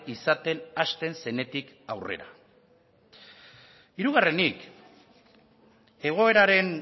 izaten hasten zenetik aurrera hirugarrenik egoeraren